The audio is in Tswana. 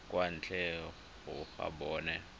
kwa ntle ga go bona